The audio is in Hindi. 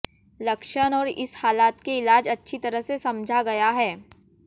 लक्षण और इस हालत के इलाज अच्छी तरह से समझा गया है